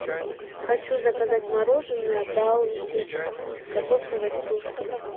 хочу заказать мороженое баунти с кокосовой стружкой